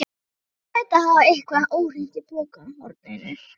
Hann hlaut að hafa eitthvað óhreint í pokahorninu.